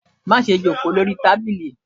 ma sé jòkó sí Ori tábilí!